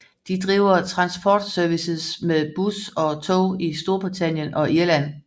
De driver transportservices med bus og tog i Storbritannien og Irland